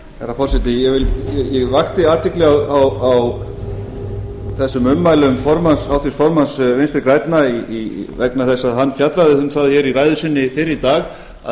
herra forseti ég vakti athygli á þessum ummælum háttvirts formanns vinstri grænna vegna þess að hann fjallaði um það hér í ræðu sinni fyrr í dag að